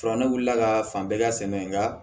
Fura ne wulila ka fan bɛɛ ka sɛnɛ nka